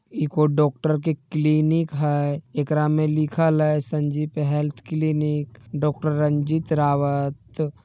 एखों doctor के clinic हई एकरा मे लिखल है Sanjeevan health clinic doctor Ranjeet Rawat.